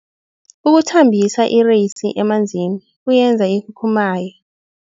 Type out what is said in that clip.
Ukuthambisa ireyisi emanzini kuyenza ikhukhumaye.